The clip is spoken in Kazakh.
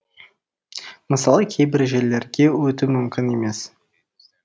мысалы кейбір жерлерге өту мүмкін емес